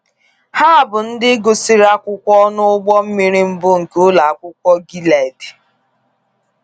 Ha bụ ndị gụsịrị akwụkwọ n’ụgbọ mmiri mbụ nke ụlọ akwụkwọ Gilead.